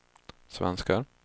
svenskar